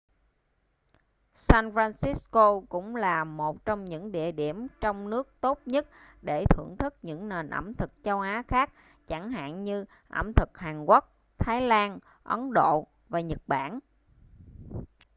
san francisco cũng là một trong những địa điểm trong nước tốt nhất để thưởng thức những nền ẩm thực châu á khác chẳng hạn như ẩm thực hàn quốc thái lan ấn độ và nhật bản